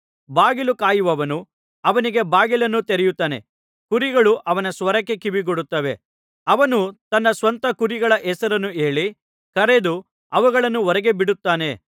ಬಾಗಿಲು ಕಾಯುವವನು ಅವನಿಗೆ ಬಾಗಿಲನ್ನು ತೆರೆಯುತ್ತಾನೆ ಕುರಿಗಳು ಅವನ ಸ್ವರಕ್ಕೆ ಕಿವಿಗೊಡುತ್ತವೆ ಅವನು ತನ್ನ ಸ್ವಂತ ಕುರಿಗಳ ಹೆಸರು ಹೇಳಿ ಕರೆದು ಅವುಗಳನ್ನು ಹೊರಗೆ ಬಿಡುತ್ತಾನೆ